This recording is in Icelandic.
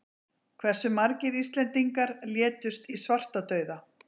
Hversu margir Íslendingar létust í svartadauða?